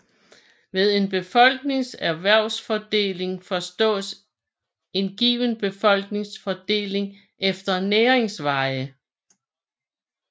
Ved en befolknings erhvervsfordeling forstås en given befolknings fordeling efter næringsveje